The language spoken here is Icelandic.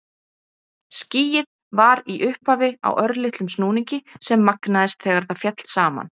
Skýið var í upphafi á örlitlum snúningi sem magnaðist þegar það féll saman.